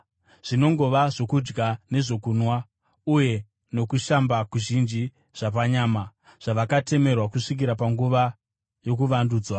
Zvinongova zvokudya nezvokunwa uye nokushamba kuzhinji zvapanyama, zvavakatemerwa kusvikira panguva yokuvandudzwa.